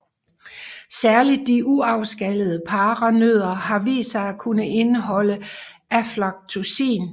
Særligt de uafskallede paranødder har vist sig at kunne indeholde aflatoksin